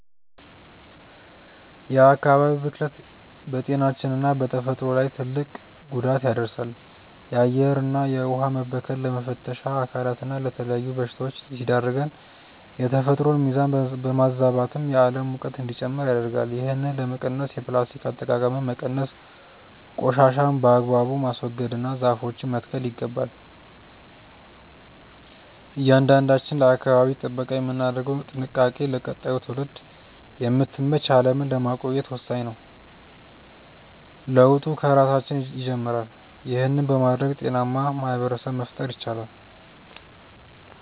የአካባቢ ብክለት በጤናችንና በተፈጥሮ ላይ ትልቅ ጉዳት ያደርሳል። የአየርና የውኃ መበከል ለመተንፈሻ አካላትና ለተለያዩ በሽታዎች ሲዳርገን፣ የተፈጥሮን ሚዛን በማዛባትም የዓለም ሙቀት እንዲጨምር ያደርጋል። ይህንን ለመቀነስ የፕላስቲክ አጠቃቀምን መቀነስ፣ ቆሻሻን በአግባቡ ማስወገድና ዛፎችን መትከል ይገባል። እያንዳንዳችን ለአካባቢ ጥበቃ የምናደርገው ጥንቃቄ ለቀጣዩ ትውልድ የምትመች ዓለምን ለማቆየት ወሳኝ ነው። ለውጡ ከራሳችን ይጀምራል። ይህን በማድረግ ጤናማ ማኅበረሰብ መፍጠር ይቻላል።